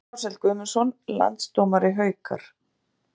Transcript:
Guðmundur Ársæll Guðmundsson Landsdómari Haukar